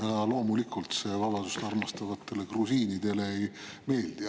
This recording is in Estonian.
Ja loomulikult see vabadust armastavatele grusiinidele ei meeldi.